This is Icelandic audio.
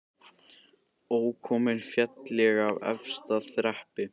Ókominn féll ég af efsta þrepi